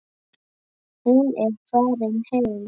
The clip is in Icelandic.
Hún er farin heim.